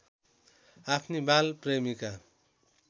आफ्नी बाल प्रेमीका